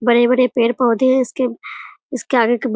बड़े-बड़े पेड़-पोधे है इसके इसके आगे --